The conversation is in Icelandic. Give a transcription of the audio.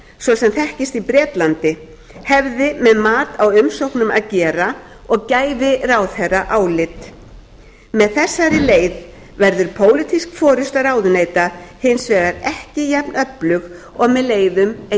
svo sem þekkist í bretlandi hefði með mat á umsóknum að gera og gæfi ráðherra álit með þessari leið verður pólitísk forusta ráðuneyta hins vegar ekki jafn öflug og með leiðum